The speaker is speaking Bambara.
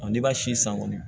n'i b'a si san kɔni